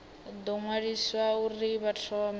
ḓo ṅwaliswa uri vha thome